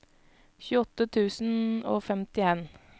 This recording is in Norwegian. tjueåtte tusen og femtien